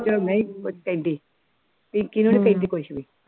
ਚ ਪਿੰਕੀ ਨੂੰ ਨੀ ਕਹਿੰਦੀ ਕੁਛ ਵੀ